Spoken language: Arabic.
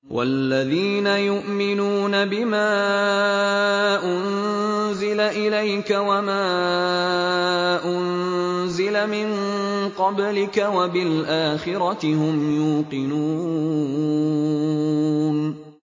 وَالَّذِينَ يُؤْمِنُونَ بِمَا أُنزِلَ إِلَيْكَ وَمَا أُنزِلَ مِن قَبْلِكَ وَبِالْآخِرَةِ هُمْ يُوقِنُونَ